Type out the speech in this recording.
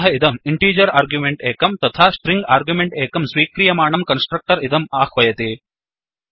अतः इदं integer argument एकं तथा स्ट्रिङ्ग् आर्ग्युमेण्ट् एकं स्वीक्रियमाणं कन्स्ट्रक्टर् इदं आह्वयति